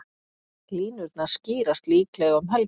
Línurnar skýrast líklega um helgina.